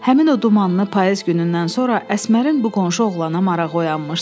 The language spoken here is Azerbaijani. Həmin o dumanlı payız günündən sonra Əsmərin bu qonşu oğlana marağı oyanmışdı.